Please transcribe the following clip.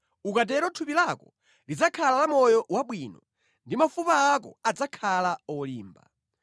Ukatero thupi lako lidzakhala la moyo wabwino ndi mafupa ako adzakhala olimba.